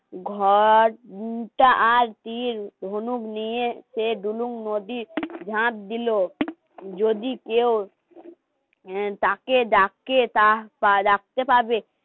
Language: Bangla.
ঘর উটা আর দিল ধনুক নিয়ে সে দুলুম নদীর ঝাঁপ দিল. যদি কেউ তাকে ডাকে তা বা ডাকতে পারবে